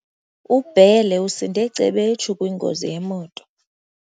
UBhele usinde cebetshu kwingozi yemoto.